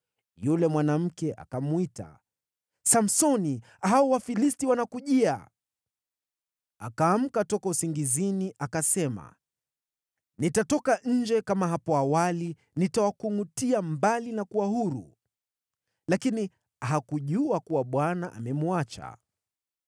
Yule mwanamke akamwita, “Samsoni, hao Wafilisti wanakujia!” Akaamka toka usingizini akasema, “Nitatoka nje kama hapo awali, nitawakungʼutia mbali na kuwa huru.” Lakini hakujua kuwa Bwana amemwacha.